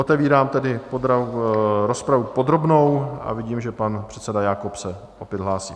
Otevírám tedy rozpravu podrobnou a vidím, že pan předseda Jakob se opět hlásí.